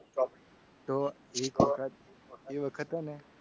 તો એક વખત એ વખત હે ને